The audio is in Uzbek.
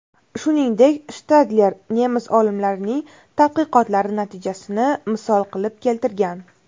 Shuningdek, Shtadler nemis olimlarining tadqiqotlari natijasini misol qilib keltirgan.